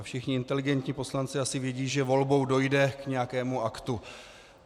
A všichni inteligentní poslanci asi vědí, že volbou dojde k nějakému aktu.